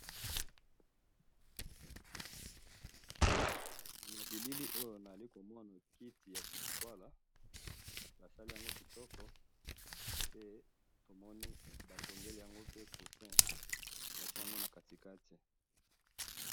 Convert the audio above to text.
Na bilili oyo naza komona kiti ya kititwala, basali yango kitoko, pe to moni batongeli yango deux cousins bati yango na katikati.